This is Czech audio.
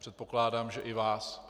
Předpokládám, že i vás.